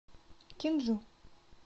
кенджу